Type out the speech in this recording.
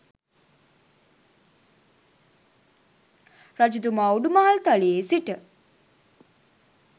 රජතුමා උඩුමහල් තලයේ සිට